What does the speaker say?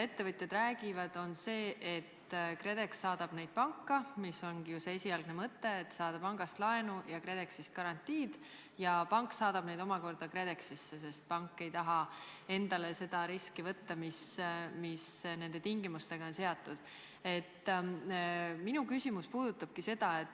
Ettevõtjad räägivad, et KredEx saadab neid panka – see ongi ju esialgne mõte, et pangast saadakse laenu ja KredExist garantii –, aga pank saadab nad omakorda KredExisse, sest pank ei taha endale võtta riski, mis nende tingimustega kaasneb.